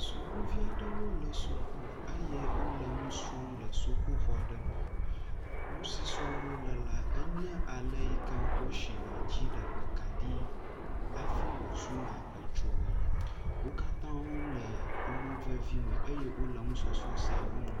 Sukuvi aɖewo le suku eye wo le nu srɔ̃m le sukuxɔ aɖe me. Nu si srɔ̃m wo le la enye ale yi ke wosina dziɖegbekaɖi hafi wozuna edzoe. Wo katã wo le emo vevime eye wo le enusɔsrɔ̃ sia wɔm.